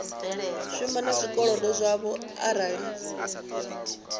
shuma na zwikolodo zwavho arali